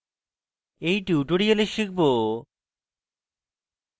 in tutorial শিখব: